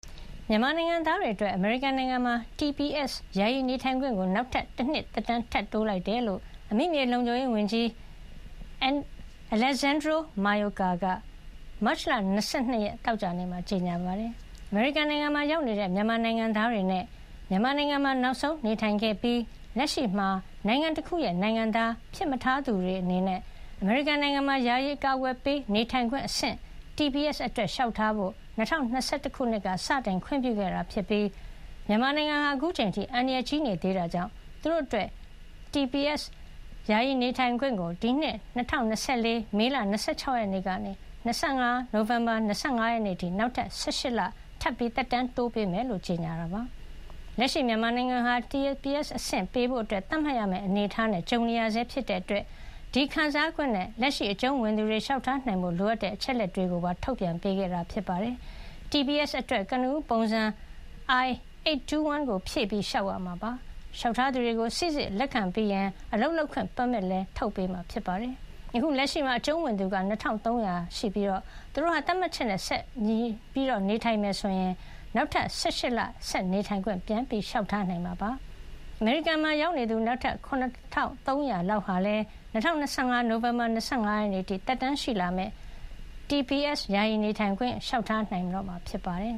မြန်မာနိုင်ငံသားတွေ အတွက် အမေရိကန်နိုင်ငံမှာ ယာယီနေထိုင်ခွင့် ကိုနောက်ထပ် တနှစ်ခွဲ သက်တမ်း ထပ်တိုးလိုက်တယ်လို့ အမိမြေလုံခြုံရေး ဝန်ကြီး Alejandro N. Mayorkas က မတ်လ ၂၂ ရက် သောကြာနေ့မှာ ကြေညာပါတယ်။ အမေရိကန်မှာရောက်နေတဲ့ မြန်မာနိုင်ငံသားတွေနဲ့ မြန်မာနိုင်ငံမှာ နောက်ဆုံးနေထိုင်ခဲ့ပြီး လက်ရှိမှာ နိုင်ငံတခုခုရဲ့ နိုင်ငံသားဖြစ်မထားသူတွေ အနေနဲ့ အမေရိကန်မှာ ယာယီ အကာအကွယ်ပေး နေထိုင်ခွင့်အဆင့် အတွက် လျှောက်ထားဖို့ ၂၀၂၁ ခုနှစ်ကစတင် ခွင့်ပြုခဲ့တာ ဖြစ်ပြီး မြန်မာနိုင်ငံဟာ အခုချိန်အထိ အန္တရာယ် ကြီးနေသေးတာကြောင့် သူတို့အတွက် TSP ယာယီနေထိုင်ခွင့်ကို ဒီနှစ် ၂၀၂၄ မေလ ၂၆ ရက်နေ့ကနေ ၂၀၂၅ နိုဝင်ဘာ ၂၅ ရက်အထိ နောက်ထပ် ၁၈ လ ထပ်မံ သက်တမ်းတိုးပေးမှာ ဖြစ်ကြောင်း ကြေညာလိုက်တာ ဖြစ်ပါတယ်။ လက်ရှိ မြန်မာနိုင်ငံဟာ TPS အဆင့် ပေးဖို့ သတ်မှတ်ရမယ့် အနေထားနဲ့ ကြုံနေရဆဲ ဖြစ်တဲ့အတွက် ဒီခံစားခွင့်နဲ့ လက်ရှိ အကြုံးဝင်သူတွေ လျှောက်ထားနိုင်ဖို့ လိုအပ်တဲ့ အချက်အလက်တွေကိုပါ ထုတ်ပြန်ပေးခဲ့တာပါ။ TPS အတွက် ကနဦး ပုံစံ I- 821 ကို ဖြည့်ပြီး လျှောက်ရမှာ ဖြစ်ပါတယ်။ လျှောက်ထားသူတွေကို စီစစ် လက်ခံပြီးရင် အလုပ်လုပ်ခွင့် ပါမစ်လည်း ထုတ်ပေးမှာဖြစ်ပါတယ်။ အခု လက်ရှိမှာ အကြုံးဝင်သူ ၂၃၀၀ လောက်ဟာလည်း သတ်မှတ်ချက်နဲ့ ဆက်ပြီး ကိုက်ညီနေမယ် ဆိုရင် သူတို့ဟာ နောက်ထပ် ၁၈ လ ဆက်လက် နေထိုင်ခွင့် ပြန်လျှောက်ထားနိုင်မှာ ဖြစ်ပြီး အမေရိကန်မှာ ရောက်နေသူ နောက်ထပ် ၇၃၀၀ လောက်ဟာလည်း ၂၀၂၅ နိုဝင်ဘာ ၂၅ ရက် အထိ သက်တမ်းရှိလာမယ့် TPS ယာယီနေထိုင်ခွင့်ဟာ လျှောက်ထားနိုင်မှာ ဖြစ်ပါတယ်